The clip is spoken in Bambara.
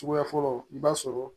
Suguya fɔlɔ i b'a sɔrɔ